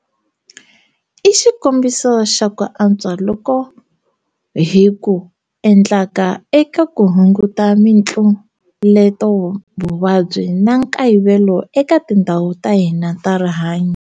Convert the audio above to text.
I xikombiso xa ku antswa loku hi ku endlaka eka ku hunguta mitluletovuvabyi na nkayivelo eka tindhawu ta hina ta rihanyu.